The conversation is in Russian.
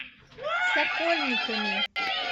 сокольниками